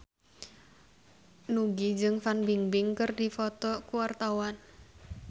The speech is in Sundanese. Nugie jeung Fan Bingbing keur dipoto ku wartawan